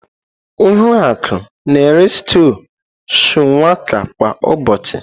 Ihuaku na-eri stúu shuwaka kwa ụbọchị.